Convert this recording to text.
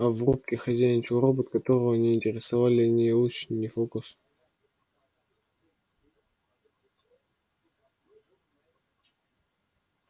а в рубке хозяйничал робот которого не интересовали ни луч ни фокус